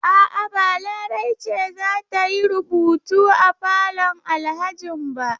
A'a, ba Larai ce za ta yi rubutu a falon Alhajin ba